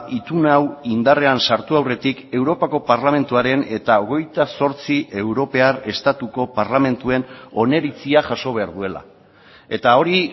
itun hau indarrean sartu aurretik europako parlamentuaren eta hogeita zortzi europar estatuko parlamentuen oniritzia jaso behar duela eta hori